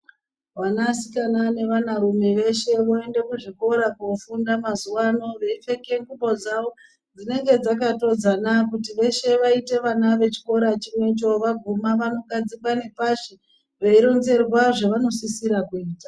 Vanasikana nevana rume veshe vanoenda kuzvikora kofunda mazuwano veitenge ngubo dzavo dzinenge dzakatodzana kuti veshe vaite vana vechikora chimwecho kuti vaguma vanogadzikwa nepashi veironzerwa zvevanosisa kuita.